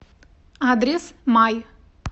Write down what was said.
адрес май